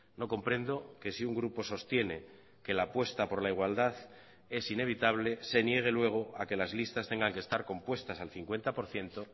no comprendo que si un grupo sostiene que la apuesta por la igualdad es inevitable se niegue luego a que las listas tengan que estar compuestas al cincuenta por ciento